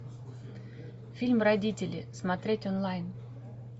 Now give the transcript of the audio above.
фильм родители смотреть онлайн